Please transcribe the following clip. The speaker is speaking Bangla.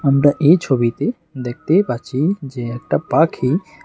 আমরা এই ছবিতে দেখতে পাচ্ছি যে একটা পাখি--